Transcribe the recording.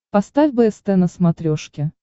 поставь бст на смотрешке